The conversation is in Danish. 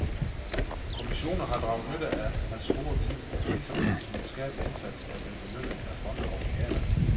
Kommissioner har draget nytte af hans store viden, ligesom hans videnskabelige indsats er blevet belønnet af fonde og legater.